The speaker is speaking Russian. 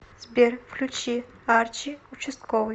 сбер включи арчи участковый